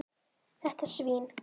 Þetta svín.